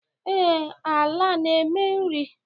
Ee, ala a na-eme nri